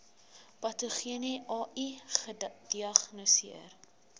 patogene ai gediagnoseer